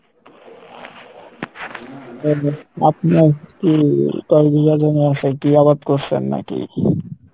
বলুন আপনার কী, কয় বিঘা জমি আসে, কী আবাদ করসেন নাকি?